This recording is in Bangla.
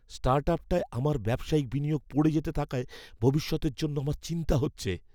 স্টার্টআপটায় আমার ব্যবসায়িক বিনিয়োগ পড়ে যেতে থাকায় ভবিষ্যতের জন্য আমার চিন্তা হচ্ছে।